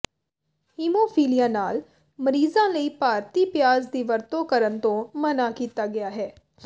haemophilia ਨਾਲ ਮਰੀਜ਼ਾਂ ਲਈ ਭਾਰਤੀ ਪਿਆਜ਼ ਦੀ ਵਰਤੋਂ ਕਰਨ ਤੋਂ ਮਨ੍ਹਾ ਕੀਤਾ ਗਿਆ ਹੈ